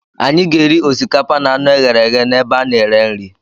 Anyị ga-eri osikapa na anụ ọkụkọ e ghere eghe n'ebe a na-ere nri.